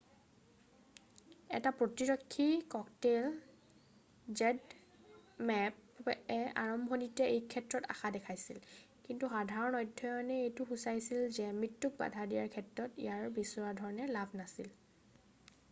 এটা প্ৰতিৰক্ষী ককতেইল zmappয়ে আৰম্ভণিতে এইক্ষেত্ৰত আশা দেখাইছিল কিন্তু সাধাৰণ অধ্যয়নে এইটো সুচাইছিল যে মৃত্যুক বাধা দিয়াৰ ক্ষেত্ৰত ইয়াৰ বিচৰা ধৰণে লাভ নাছিল।